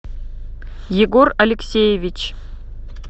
егор алексеевич